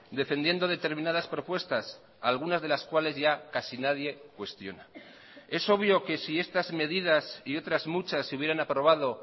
defendiendo determinadas propuestas algunas de las cuales ya casi nadie cuestiona es obvio que si estas medidas y otras muchas se hubieran aprobado